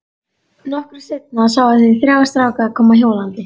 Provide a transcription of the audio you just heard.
Nokkru seinna sáu þeir þrjá stráka koma hjólandi.